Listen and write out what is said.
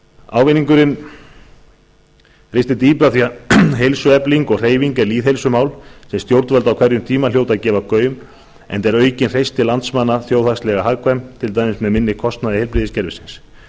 ávinningurinn ristir dýpra því að heilsuefling og hreyfing er lýðheilsumál sem stjórnvöld á hverjum tíma hljóta að gefa gaum enda er aukin hreysti landsmanna þjóðhagslega hagkvæm til dæmis með minni kostnaði heilbrigðiskerfisins